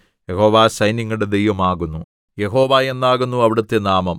യഹോവ സൈന്യങ്ങളുടെ ദൈവമാകുന്നു യഹോവ എന്നാകുന്നു അവിടുത്തെ നാമം